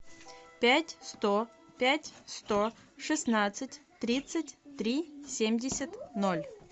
пять сто пять сто шестнадцать тридцать три семьдесят ноль